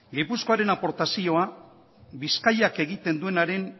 gipuzkoaren aportazioa bizkaiak egiten duenaren